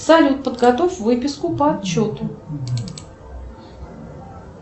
салют подготовь выписку по отчету